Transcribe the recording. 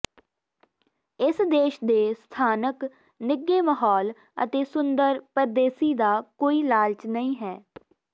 ਇਸ ਦੇਸ਼ ਦੇ ਸਥਾਨਕ ਨਿੱਘੇ ਮਾਹੌਲ ਅਤੇ ਸੁੰਦਰ ਪਰਦੇਸੀ ਦਾ ਕੋਈ ਲਾਲਚ ਨਹੀਂ ਹੈ